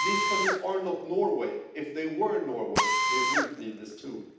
These countries are not Norway if they were Norway they wouldn't need this tool.